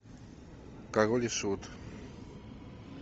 король и шут